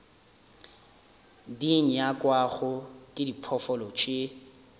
di nyakwago ke diphoofolo tše